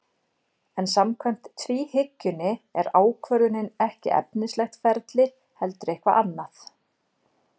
En samkvæmt tvíhyggjunni er ákvörðunin ekki efnislegt ferli heldur eitthvað annað.